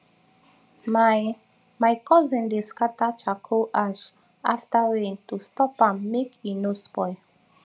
my my cousin dey scatter charcoal ash after rain to stop am make e no spoil